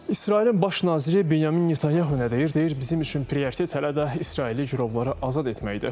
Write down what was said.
İsrailin baş naziri Binyamin Netanyahu nə deyir, deyir bizim üçün prioritet hələ də İsraili girovları azad etməkdir.